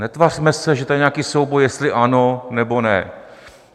Netvařme se, že tady je nějaký souboj, jestli ano nebo ne.